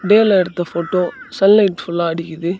வெயில்லா எடுத்த photo sunlight ஃபுல்லா அடிக்குது.